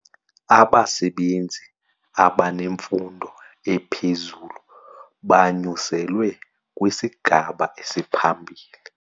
Abasebenzi abanemfundo ephezulu banyuselwe kwisigaba esiphambili.